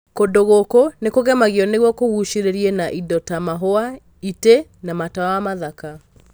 Kũndũ gũkũ nĩkũgemagio nĩguo kũgucĩrĩrie, na indo ta mahũa, itē na matawa mathaka.